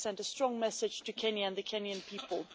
We have sent a strong message to Kenya and the Kenyan people.